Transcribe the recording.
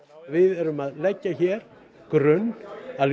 við erum að leggja hér grunn að